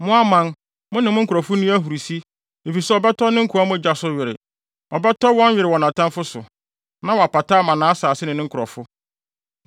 Mo aman, mo ne ne nkurɔfo nni ahurusi, efisɛ ɔbɛtɔ ne nkoa mogya so were; ɔbɛtɔ were wɔ nʼatamfo so na wapata ama nʼasase ne ne nkurɔfo.